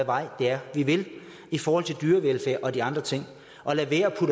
vej det er vi vil i forhold til dyrevelfærd og de andre ting og lad